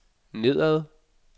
nedad